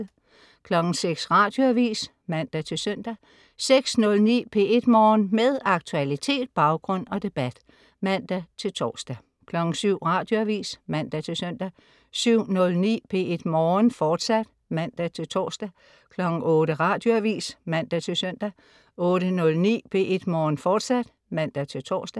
06.00 Radioavis (man-søn) 06.09 P1 Morgen. Med aktualitet, baggrund og debat (man-tors) 07.00 Radioavis (man-søn) 07.09 P1 Morgen, fortsat (man-tors) 08.00 Radioavis (man-søn) 08.09 P1 Morgen, fortsat (man-tors)